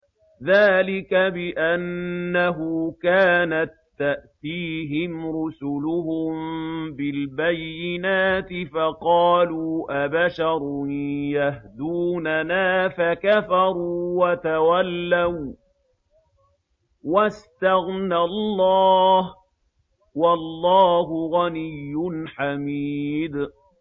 ذَٰلِكَ بِأَنَّهُ كَانَت تَّأْتِيهِمْ رُسُلُهُم بِالْبَيِّنَاتِ فَقَالُوا أَبَشَرٌ يَهْدُونَنَا فَكَفَرُوا وَتَوَلَّوا ۚ وَّاسْتَغْنَى اللَّهُ ۚ وَاللَّهُ غَنِيٌّ حَمِيدٌ